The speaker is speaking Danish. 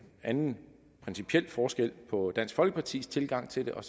anden principiel forskel på dansk folkepartis tilgang til det og